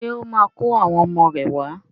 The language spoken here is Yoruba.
Ṣé ó máa kó àwọn ọmọ rẹ̀ wá?